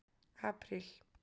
apríl